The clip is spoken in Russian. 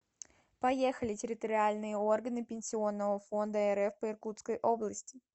поехали территориальные органы пенсионного фонда рф по иркутской области